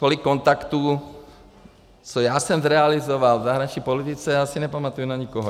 Tolik kontaktů, co já jsem zrealizoval v zahraniční politice, já si nepamatuji na nikoho.